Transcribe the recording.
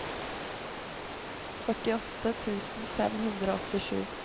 førtiåtte tusen fem hundre og åttisju